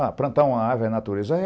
Ah, plantar uma árvore é natureza?